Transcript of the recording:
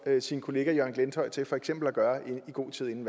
sin kollega jørgen glenthøj til at gøre i god tid inden